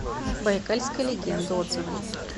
байкальская легенда отзывы